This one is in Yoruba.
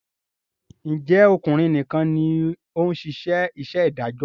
Ǹjẹ́ ọkùnrin nìkan ni ó ń ṣe iṣẹ́ adájọ́?